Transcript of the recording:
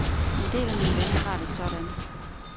En del af mine venner har det sådan.